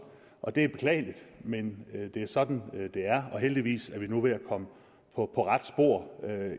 og det er beklageligt men det er sådan det er og heldigvis er vi nu ved at komme på rette spor